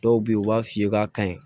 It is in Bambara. Dɔw be yen u b'a f'i ye k'a ka ɲi